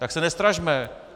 Tak se nestrašme.